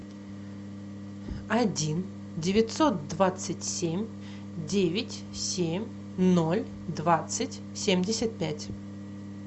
один девятьсот двадцать семь девять семь ноль двадцать семьдесят пять